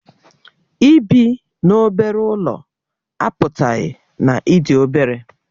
Ịbi n'obere ụlọ apụtaghị na ị dị obere